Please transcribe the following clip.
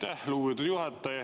Aitäh, lugupeetud juhataja!